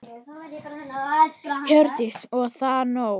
Hjördís: Og er það nóg?